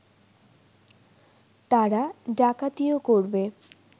তারা ডাকাতিও করবে